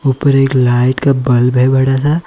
उपर एक लाइट का बल्ब है बड़ा सा--